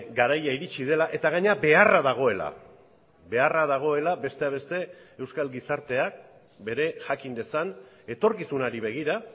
garaia iritsi dela eta gainera beharra dagoela beharra dagoela besteak beste euskal gizarteak bere jakin dezan etorkizunari begira